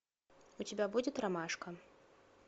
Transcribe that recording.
у тебя будет ромашка